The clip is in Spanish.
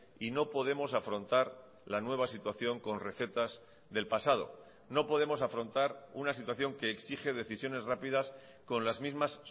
y no podemos afrontar la nueva situación con recetas del pasado no podemos afrontar una situación que exige decisiones rápidas con las mismas